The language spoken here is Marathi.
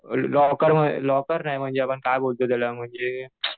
लॉकर लॉकर नाही आपण काय म्हणतो त्याला म्हणजे